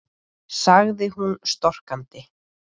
sagði hún storkandi.